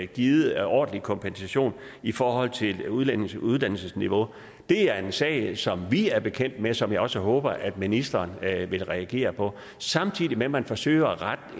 givet ordentlig kompensation i forhold til udlændinges uddannelsesniveau det er en sag som vi er bekendt med og som jeg også håber at ministeren vil reagere på samtidig med at man forsøger at rette